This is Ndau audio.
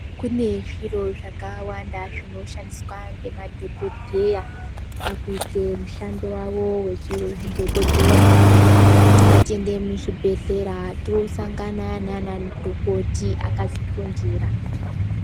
Kune zviro zvakawanda zvinoshandiswa ngemadhokodheya pakuite mushando wavo wechiudhokodheya ngatiende muzvibhedhlera tosangana naanamudhokoti akazvifundira.